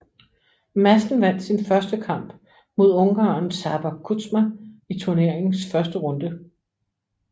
Madsen vandt sin første kamp mod ungareren Csaba Kuzma i turneringens første runde